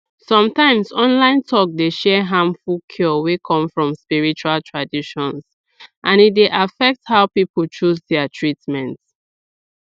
some times online talk dey share harmful cure wey come from spiritual traditions and e dey affect how people choose their treatment